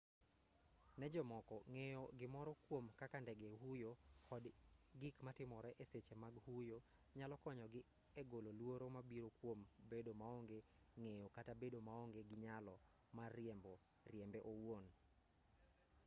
ne jomoko ng'eyo gimoro kwom kaka ndege huyo kod gik matimore e seche mag huyo nyalo konyogi e golo luoro mabiro kwom bedo maonge ng'eyo kata bedo maonge gi nyalo mar riembe owuon